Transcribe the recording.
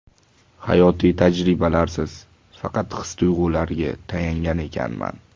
Hayotiy tajribalarsiz, faqat his-tuyg‘ularga tayangan ekanman.